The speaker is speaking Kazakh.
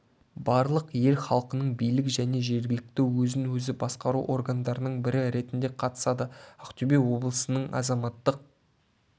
барлық ел халқының билік және жергілікті өзін-өзі басқару органдарының бірі ретінде қатысады ақтөбе облысының азаматтық